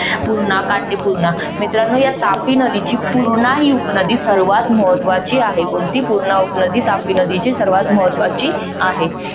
पूर्णा, काटे पूर्णा मित्रानो या तापी नदीची पूर्णा ही उपनदी सर्वात महत्वाची आहे, कोणती? पूर्णा उपनदी तापी नदीची सर्वात महत्वाची आहे.